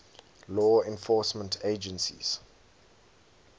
law enforcement agencies